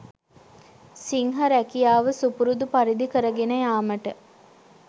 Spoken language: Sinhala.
සිංහ රැකියාව සුපුරුදු පරිදි කරගෙන යාමට